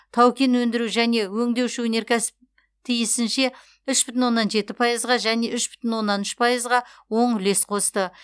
тау кен өндіру және өңдеуші өнеркәсіп тиісінше үш бүтін оннан жеті пайызға және үш бүтін оннан үш пайызға оң үлес қосты